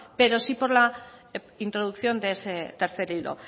pero sí por la introducción de ese tercer hilo